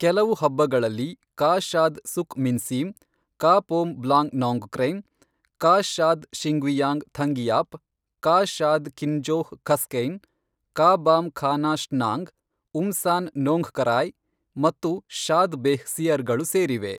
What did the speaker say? ಕೆಲವು ಹಬ್ಬಗಳಲ್ಲಿ ಕಾ ಶಾದ್ ಸುಕ್ ಮಿನ್ಸೀಮ್, ಕಾ ಪೋಮ್ ಬ್ಲಾಂಗ್ ನೋಂಗ್ಕ್ರೆಮ್, ಕಾ ಶಾದ್ ಶಿಂಗ್ವಿಯಾಂಗ್ ಥಂಗಿಯಾಪ್, ಕಾ ಶಾದ್ ಕಿನ್ಜೋಹ್ ಖಸ್ಕೈನ್, ಕಾ ಬಾಮ್ ಖಾನಾ ಶ್ನಾಂಗ್, ಉಮ್ಸಾನ್ ನೋಂಗ್ಖರಾಯ್, ಮತ್ತು ಶಾದ್ ಬೇಹ್ ಸಿಯರ್ಗಳು ಸೇರಿವೆ.